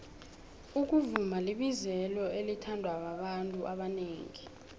ukuvuma libizelo elithandwababantu abonengi